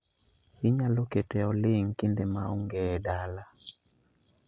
Inyalo kete oling' kinde maonge edala